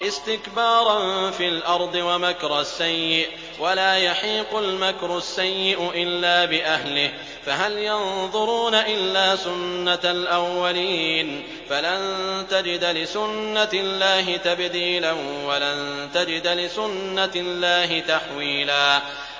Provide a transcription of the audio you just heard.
اسْتِكْبَارًا فِي الْأَرْضِ وَمَكْرَ السَّيِّئِ ۚ وَلَا يَحِيقُ الْمَكْرُ السَّيِّئُ إِلَّا بِأَهْلِهِ ۚ فَهَلْ يَنظُرُونَ إِلَّا سُنَّتَ الْأَوَّلِينَ ۚ فَلَن تَجِدَ لِسُنَّتِ اللَّهِ تَبْدِيلًا ۖ وَلَن تَجِدَ لِسُنَّتِ اللَّهِ تَحْوِيلًا